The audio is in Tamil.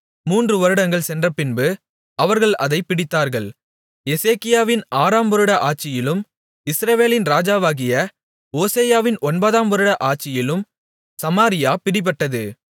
மூன்றுவருடங்கள் சென்றபின்பு அவர்கள் அதைப் பிடித்தார்கள் எசேக்கியாவின் ஆறாம் வருட ஆட்சியிலும் இஸ்ரவேலின் ராஜாவாகிய ஓசெயாவின் ஒன்பதாம் வருட ஆட்சியிலும் சமாரியா பிடிபட்டது